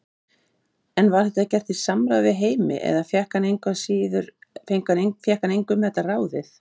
En var þetta gert í samráði við Heimi eða fékk hann engu um þetta ráðið?